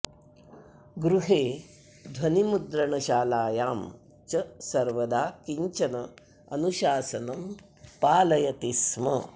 गृहे ध्वनिमुद्रणशालायां च सर्वदा किञ्चन अनुशासनं पालयति स्म